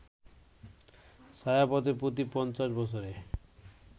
ছায়াপথে প্রতি ৫০ বছরে